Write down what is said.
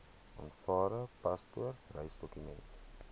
aanvaarbare paspoort reisdokument